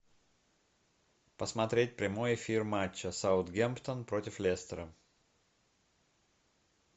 посмотреть прямой эфир матча саутгемптон против лестера